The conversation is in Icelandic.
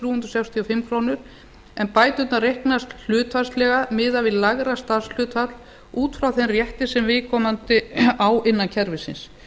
hundruð sextíu og fimm krónur en bæturnar reiknast hlutfallslega miðað við lægra starfshlutfall út frá þeim rétti sem viðkomandi á innan kerfisins